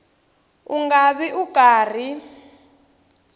u nga vi u karhi